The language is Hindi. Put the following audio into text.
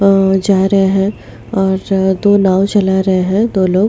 जा रहे हैं और दो नाव चला रहे हैं दो लोग।